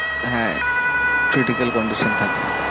হ্যাঁ critical condition থাকলে।